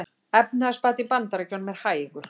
Efnahagsbati í Bandaríkjunum hægur